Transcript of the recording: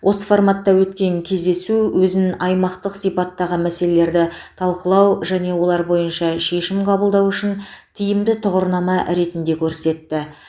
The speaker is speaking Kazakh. осы форматта өткен кездесу өзін аймақтық сипаттағы мәселелерді талқылау және олар бойынша шешім қабылдау үшін тиімді тұғырнама ретінде көрсетті